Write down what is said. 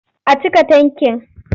A cika tankin.